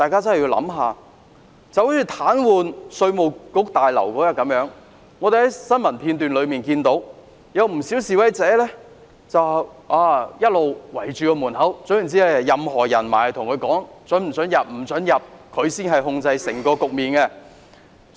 正如早前示威者癱瘓稅務大樓，我們在新聞片中看到，不少示威者堵塞大樓門口，不准任何人進入大樓，他們才是控制整個局面的人。